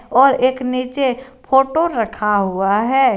और एक नीचे फोटो रखा हुआ है।